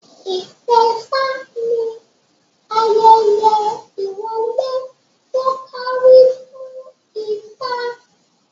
Itẹfa ni ayẹyẹ ìwọlé to kárí fún ifá